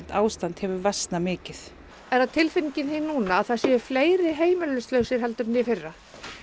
ástand hefur versnað mikið er það tilfinningin þín núna að það séu fleiri heimilislausir heldur en í fyrra